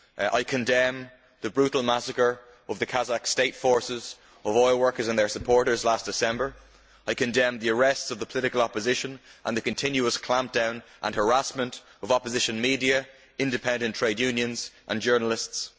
I condemn the brutal massacre by the Kazakh state forces of oil workers and their supporters last December, and I condemn the arrest of the political opposition and the continuous clampdown against and harassment of opposition media, independent trade unions and journalists.